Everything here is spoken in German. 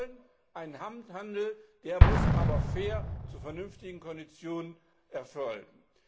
Wir wollen einen Handel, der muss aber fair, zu vernünftigen Konditionen erfolgen.